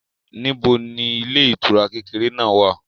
Níbo ni ilé ìtura kékeré náà wà?